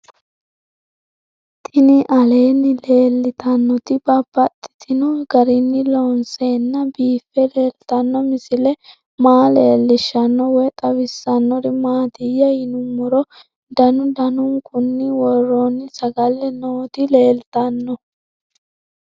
Tinni aleenni leelittannotti babaxxittinno garinni loonseenna biiffe leelittanno misile maa leelishshanno woy xawisannori maattiya yinummoro danu danunkunni woroonni sagale nootti leelittanno